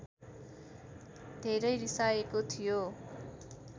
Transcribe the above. धेरै रिसाएको थियो